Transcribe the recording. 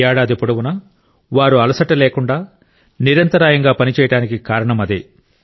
ఏడాది పొడవునా వారు అలసట లేకుండా నిరంతరాయంగా పనిచేయడానికి కారణం అదే